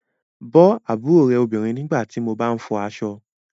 Bọ́ àbúrò rẹ obìnrin nígbà tí mo bá ń fọ aṣọ